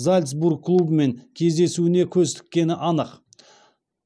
зальцбург клубымен кездесуіне көз тіккені анық